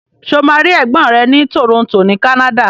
Ṣo ma rí ègbón rẹ ni Toronto ni Canada?